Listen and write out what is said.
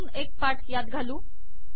अजून एक पाठ यात घालू